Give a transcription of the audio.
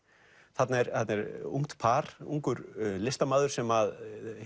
þarna er þarna er ungt par ungur listamaður sem